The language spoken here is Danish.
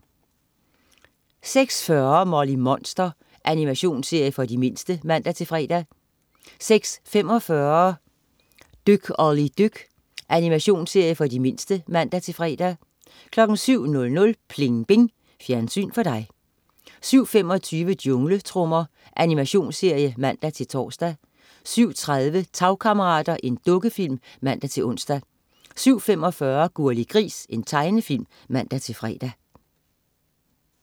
06.40 Molly Monster. Animationsserie for de mindste (man-fre) 06.45 Dyk Olli dyk. Animationsserie for de mindste (man-fre) 07.00 Pling Bing. Fjernsyn for dig 07.25 Jungletrommer. Animationsserie (man-tors) 07.30 Tagkammerater. Dukkefilm (man-ons) 07.45 Gurli Gris. Tegnefilm (man-fre)